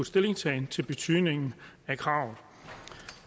stillingtagen til betydningen af kravet